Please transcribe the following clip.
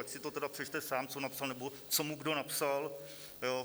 Ať si to tedy přečte sám, co napsal, nebo co mu kdo napsal.